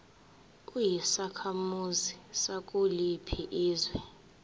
uyisakhamuzi sakuliphi izwe